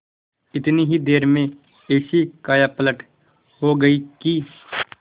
इतनी ही देर में ऐसी कायापलट हो गयी कि